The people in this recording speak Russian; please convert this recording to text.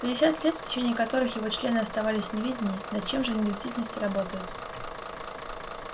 пятьдесят лет в течение которых его члены оставались в неведении над чем же они в действительности работают